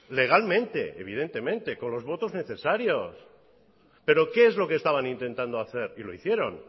legalmente evidentemente con los votos necesarios pero qué es lo que estaban intentando hacer y lo hicieron